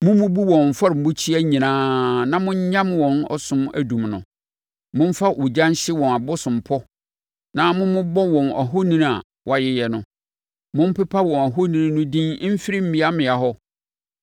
Mommubu wɔn afɔrebukyia nyinaa na monyam wɔn ɔsom adum no. Momfa ogya nhye wɔn abosompɔ na mommobɔ wɔn ahoni a wɔayeyɛ no. Mompepa wɔn ahoni no din mfiri mmeammea hɔ.